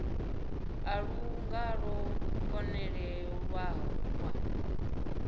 a lu nga ḓo konḓelelwa